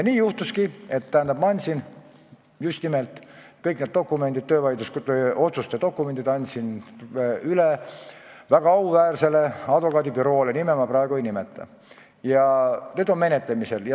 Ma andsin kõik need töövaidluskomisjoni dokumendid üle väga auväärsele advokaadibüroole – nime ma praegu ei nimeta – ja asi on menetlemisel.